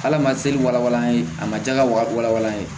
Hal'a ma seli walawala an ye a ma ja ka walan ye